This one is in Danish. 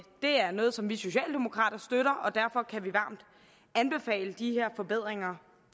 er noget som vi socialdemokrater støtter og derfor kan vi varmt anbefale de her forbedringer